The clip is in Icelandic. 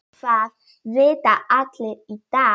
Það vita allir í dag.